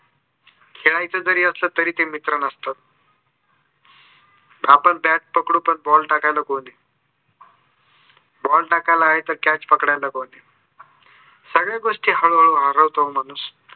खेळायचं जरी असलं तर ते मित्र नसतात. आपण bat पकडू पण ball टाकायला कोणी नाही. ball टाकायला कोणी आहे तर catch पकडायला कोणी नाही. सगळ्या गोस्टी हरवतो हो माणूस